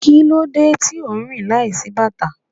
Kí ló dé tí ò ń rìn láìsí bàtà?